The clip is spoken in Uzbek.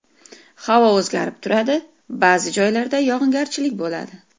Havo o‘zgarib turadi, ba’zi joylarda yog‘ingarchilik bo‘ladi.